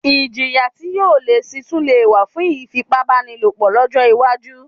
Iljìyà tí yóò le síi tún lè wà fún ìfipá bánilòpọ̀ lọ́jọ́ iwájú